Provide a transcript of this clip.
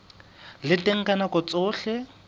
le teng ka nako tsohle